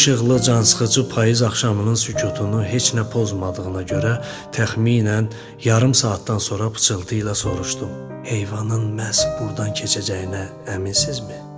Bu işıqlı, cansıxıcı payız axşamının sükutunu heç nə pozmadığına görə təxminən yarım saatdan sonra pıçıltı ilə soruşdum: heyvanın məhz burdan keçəcəyinə əminsinizmi?